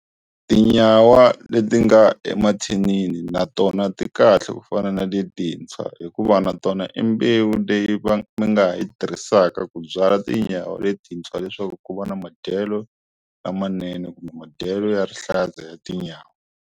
Tinyawa leti nga emathinini na tona ti kahle ku fana na letintshwa hikuva na tona i mbewu leyi va nga ha yi tirhisaka ku byala tinyawa letintshwa leswaku ku va na madyelo lamanene kumbe madyelo ya rihlaza ya tinyawa.